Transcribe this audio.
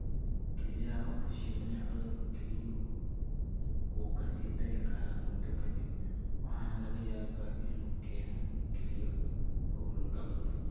Kelyaha oo Fashilmay Cudurka kelyuhu wuu ka sii dari karaa muddo ka dib, waxaana laga yaabaa inuu keeno kelyo hawlgab.